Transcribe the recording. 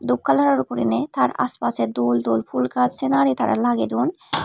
dup kalaror gurine tar ass passe dol dol pool gach senari tara lagedon.